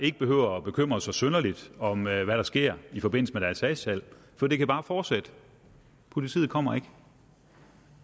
ikke behøver bekymre sig synderligt om hvad der sker i forbindelse med deres hashsalg for det kan bare fortsætte politiet kommer ikke